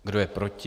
Kdo je proti?